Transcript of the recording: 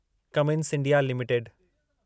Cummins India limited